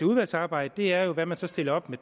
udvalgsarbejdet er hvad man så stiller op med